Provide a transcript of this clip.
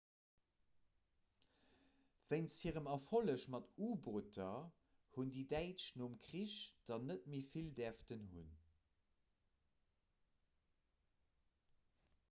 wéinst hirem erfolleg mat u-booter hunn déi däitsch nom krich der net méi vill däerfen hunn